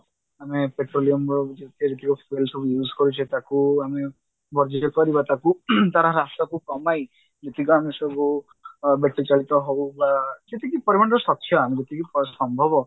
ଆମେ petroleum ଭାବୁଛେ ଏଇସବୁ use କରୁଛେ ତାକୁ ଆମେ ବଞ୍ଚିତ କରିବା ତାର ହ୍ରାସକୁ କମାଇ ଯେତିକ ଆମେ ସବୁ battery ଚାଳିତ ହଉ ବା ଯେତିକି ପରିମାଣର ସଖ୍ୟ ଆମକୁ ଯେତିକି ସମ୍ଭବ